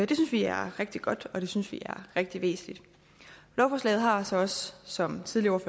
det synes vi er rigtig godt og det synes vi er rigtig væsentligt lovforslaget har så også som tidligere